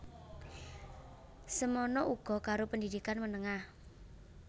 Semana uga karo pendidikan menengah